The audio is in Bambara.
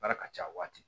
Baara ka ca a waati